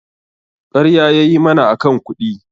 ƙarya yayi mana akan kuɗi